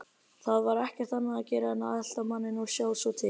Það var ekkert annað að gera en að elta manninn og sjá svo til.